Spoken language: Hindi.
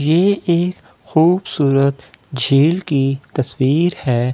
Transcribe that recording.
ये एक खूबसूरत झील की तस्‍वीर है जिस --